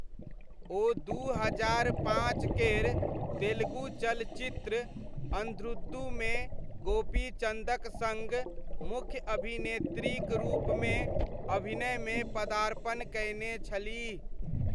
ओ दू हजार पाँच केर तेलुगु चलचित्र अन्ध्रुदुमे गोपीचन्दक सङ्ग मुख्य अभिनेत्रीक रूपमे अभिनयमे पदार्पण कयने छलीह।